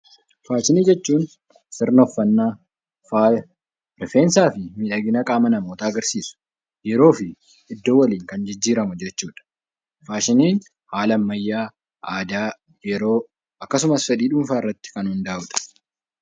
Faashinii jechuun sirna uffanna, faaya rifeensaa fi miidhagina qaama namootaa agarsiisa. Yeroo fi iddoo waliin kan jijjiiramu jechuudha. Faashiniin haala ammayyaa, aadaa, yeroo akkasumas fedhii dhuunfaa irratti kan hundaa'uudha.